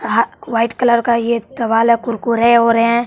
अहा white colour का ये है कुरकुरे और हैं।